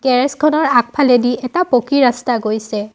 Garage খনৰ আগফলেদি এটা পকী ৰাস্তা গৈছে।